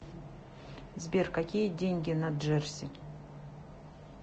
сбер какие деньги на джерси